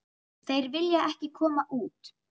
Þeir vilja ekki koma út.